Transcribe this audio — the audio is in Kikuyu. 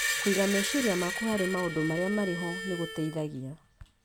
Kũiga meciria maku harĩ maũndũ marĩa marĩ ho nĩ gũteithagia